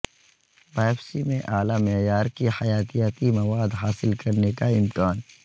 biopsy میں اعلی معیار کی حیاتیاتی مواد حاصل کرنے کا امکان